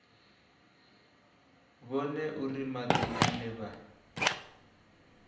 vhone uri madi ane vha